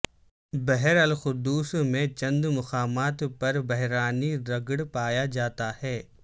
بحر القدس میں چند مقامات پر بحرانی رگڑ پایا جاتا ہے